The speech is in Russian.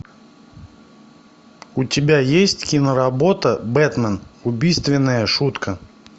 у тебя есть киноработа бэтмен убийственная шутка